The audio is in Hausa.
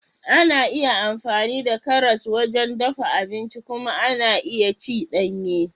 Ana iya amfani da karas wajen dafa abinci kuma ana iya ci danye.